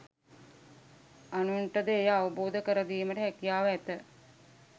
අනුන්ට ද එය අවබෝධ කර දීමට හැකියාව ඇත